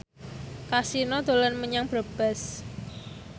Kasino dolan menyang Brebes